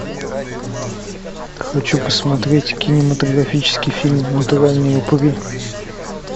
хочу посмотреть кинематографический фильм натуральные упыри